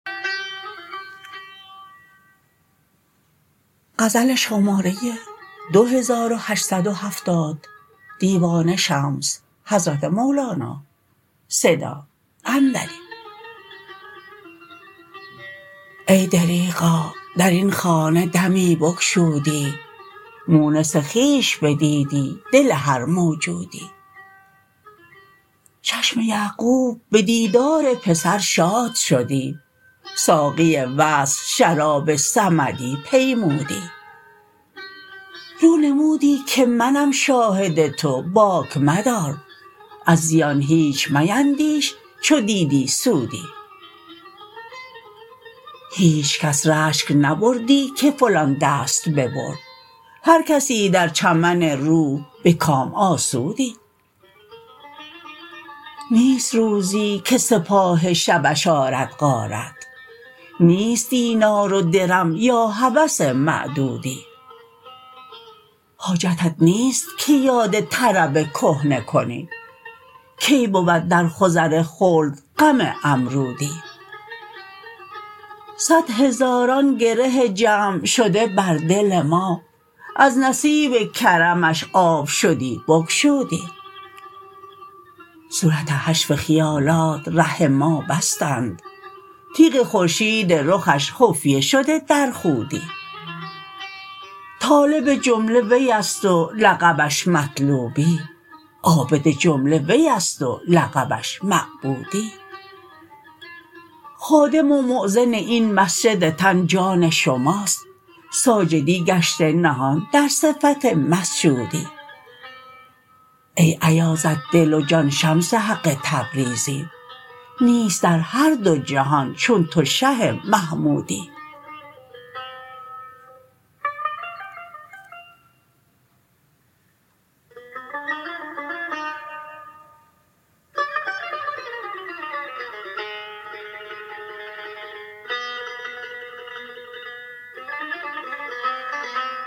ای دریغا در این خانه دمی بگشودی مونس خویش بدیدی دل هر موجودی چشم یعقوب به دیدار پسر شاد شدی ساقی وصل شراب صمدی پیمودی رو نمودی که منم شاهد تو باک مدار از زیان هیچ میندیش چو دیدی سودی هیچ کس رشک نبردی که فلان دست ببرد هر کسی در چمن روح به کام آسودی نیست روزی که سپاه شبش آرد غارت نیست دینار و درم یا هوس معدودی حاجتت نیست که یاد طرب کهنه کنی کی بود در خضر خلد غم امرودی صد هزاران گره جمع شده بر دل ما از نصیب کرمش آب شدی بگشودی صورت حشو خیالات ره ما بستند تیغ خورشید رخش خفیه شده در خودی طالب جمله وی است و لقبش مطلوبی عابد جمله وی است و لقبش معبودی خادم و مؤذن این مسجد تن جان شماست ساجدی گشته نهان در صفت مسجودی ای ایازت دل و جان شمس حق تبریزی نیست در هر دو جهان چون تو شه محمودی